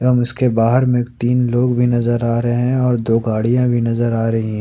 एवं इसके बाहर में तीन लोग भी नजर आ रहे हैं और दो गाड़ियां भी नजर आ रही --